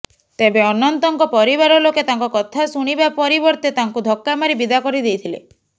ତେବେ ଅନନ୍ତଙ୍କ ପରିବାର ଲୋକେ ତାଙ୍କ କଥା ଶୁଣିବା ପରିବର୍ତ୍ତେ ତାଙ୍କୁ ଧକ୍କା ମାରି ବିଦା କରି ଦେଇଥିଲେ